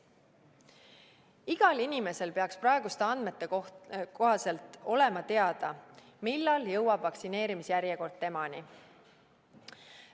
Igal inimesel peaks praeguste andmete kohaselt olema teada, millal jõuab vaktsineerimise järjekord temani.